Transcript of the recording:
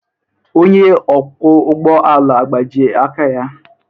Onye ọkwọ ụgbọ ala agbajie aka ya?